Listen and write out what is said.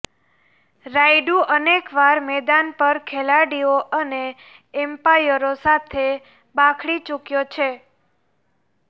રાયડુ અનેક વાર મેદાન પર ખેલાડીઓ અને એમ્પાયરો સાથે બાખડી ચૂક્યો છે